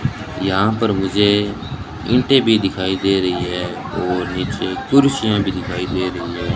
यहां पर मुझे ईंटें भी दिखाई दे रही है और नीचे कुर्सियां भी दिखाई दे रही हैं।